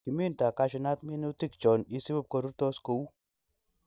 Kiminto cashew nut minutik chon isib korurtos kou